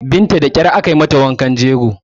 Binta da ƙyar aka yi mata wankan jego